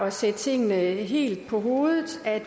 at sætte tingene helt på hovedet at